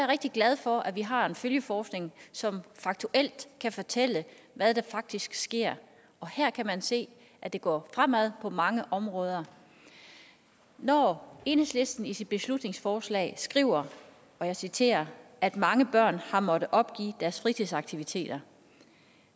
rigtig glad for at vi har en følgeforskning som faktuelt kan fortælle hvad der faktisk sker og her kan man se at det går fremad på mange områder når enhedslisten i sit beslutningsforslag skriver og jeg citerer at mange børn har måttet opgive deres fritidsaktiviteter